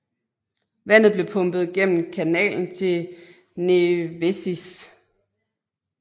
Vandet blev pumpet gennem kanalen til Nevėžis